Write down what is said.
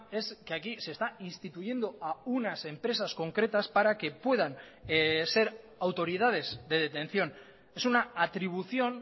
es que aquí se está instituyendo a unas empresas concretas para que puedan ser autoridades de detención es una atribución